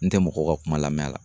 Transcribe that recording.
N tɛ mɔgɔw ka kuma lamɛn la